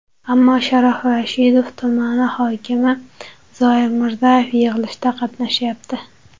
Ammo Sharof Rashidov tumani hokimi Zoir Mirzayev yig‘ilishda qatnashyapti.